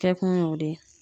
Kɛ kun y'o de ye.